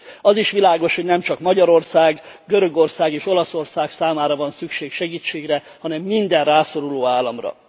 Az is világos, hogy nemcsak Magyarország, Görögország és Olaszország számára van szükség segítségre, hanem minden rászoruló államra.